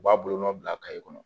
U b'a bolonɔ bila kɔnɔ